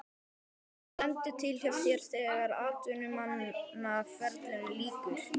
Hvað stendur til hjá þér þegar atvinnumannaferlinum lýkur?